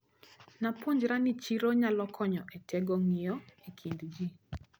Napuonjra ni chiro nyalo konyo etego ng`iyo ekind ji.